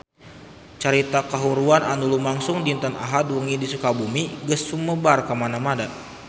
Carita kahuruan anu lumangsung dinten Ahad wengi di Sukabumi geus sumebar kamana-mana